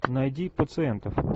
найди пациентов